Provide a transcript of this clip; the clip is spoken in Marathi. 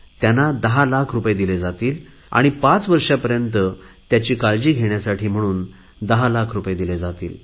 त्यांना 10 लाख रुपये दिले जातील आणि पाच वर्षापर्यंत त्याची काळजी घेण्याकरिता म्हणून 10 लाख रुपये दिले जातील